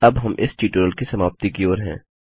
अब हम इस ट्यूटोरियल की समाप्ति की ओर हैं